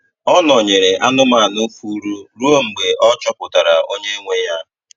Ọ nọ̀nyerè anụ́manụ fùurù ruo mgbe e chọpụtara onye nwe ya.